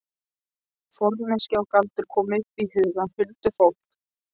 Forneskja og galdur komu upp í hugann. huldufólk.